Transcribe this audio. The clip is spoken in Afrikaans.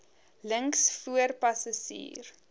links voor passasier